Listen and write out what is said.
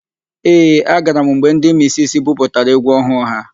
Ee, agara m mgbe ndị misisi buputara égwú ọhụụ ha.